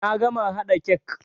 Na gama haɗa kek.